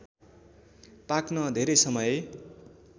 पाक्न धेरै समय